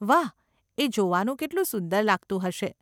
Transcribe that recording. વાહ, એ જોવાનું કેટલું સુંદર લાગતું હશે.